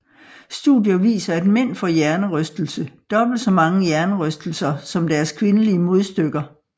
Studier viser at mænd får hjernerystelse dobbelt så mange hjernerystelser som deres kvindelige modstykker